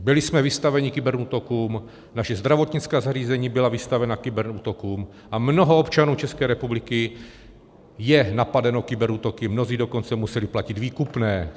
Byli jsme vystaveni kyberútokům, naše zdravotnická zařízení byla vystavena kyberútokům a mnoho občanů České republiky je napadeno kyberútoky, mnozí dokonce museli platit výkupné.